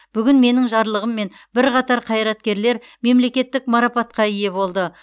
бүгін менің жарлығыммен бірқатар қайраткерлер мемлекеттік марапатқа ие болды